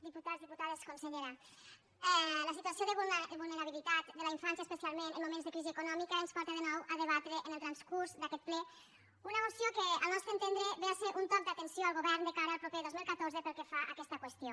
diputats diputades consellera la situació de vulnerabilitat de la infància especialment en moments de crisi econòmica ens porta de nou a debatre en el transcurs d’aquest ple una moció que al nostre entendre ve a ser un toc d’atenció al govern de cara al proper dos mil catorze pel que fa a aquesta qüestió